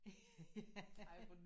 Ja